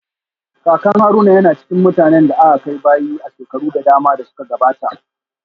Kakan Haruna yana cikin mutanen da aka kai bayi a shekaru da dama da suka gabata